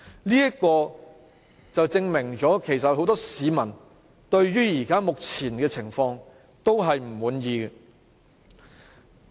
這便證明有很多市民對於目前的情況感到不滿意。